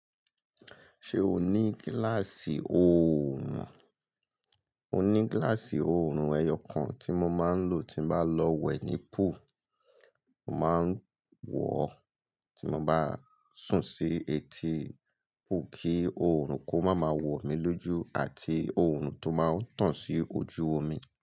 Ṣé o ní gíláàsì òòrùn? Mo ní gíláàsì òòrùn ẹyọ kan tí mo máa ń lò tí bá lọ wẹ̀ ní pool, mo máa ń wọ̀ ọ́ tí mo bá sùn sí etí pool kí òòrùn kó máa ma wọ̀ mí lójú àti òòrùn tó máa ń tàn sí ojú omi.